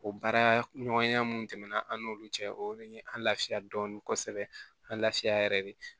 O baara ɲɔgɔnya minnu tɛmɛna an n'olu cɛ o de ye an lafiya dɔɔnin kosɛbɛ an lafiya yɛrɛ de